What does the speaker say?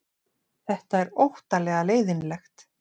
Þetta er óttalega leiðinlegt